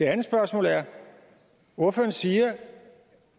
andet spørgsmål er ordføreren siger